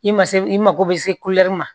I ma se i mago bɛ se ma